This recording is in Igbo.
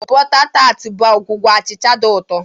Bọta tart bụ ọgwụgwọ achịcha dị ụtọ.